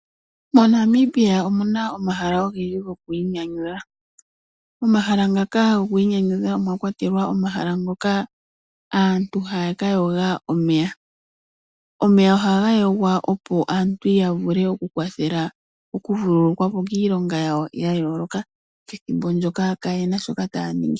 MoNamibia omuna omahala ogendji gokwiinyanyudha, momahala ngaka gokwiinyanyudha omwakwatelwa omahala ngokaaantu haya ka yooga omeya. Omeya ohaga yoogwa opo aantu yavule okukwathelwa okuvululukwa po kiilonga yawo yayooloka pethimbo ndyoka kayena shoka taya ningi.